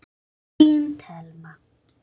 Þín Thelma.